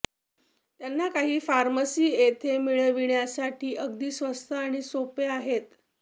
त्यांना काही फार्मसी येथे मिळविण्यासाठी अगदी स्वस्त आणि सोपे आहेत